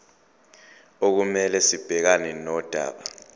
okumele sibhekane nodaba